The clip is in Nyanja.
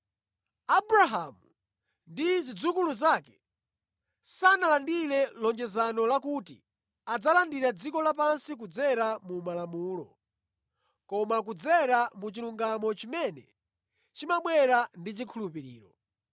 Abrahamu ndi zidzukulu zake sanalandire lonjezano lakuti adzalandira dziko lapansi kudzera mu Malamulo, koma kudzera mu chilungamo chimene chimabwera ndi chikhulupiriro.